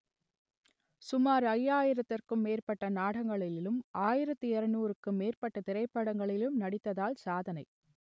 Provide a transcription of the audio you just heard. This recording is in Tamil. சுமார் ஐயாயிரத்திற்கும் மேற்பட்ட நாடகங்களிலும் ஆயிரத்து இருநூறுக்கும் மேற்பட்ட திரைப்படங்களிலும் நடித்ததால் சாதனை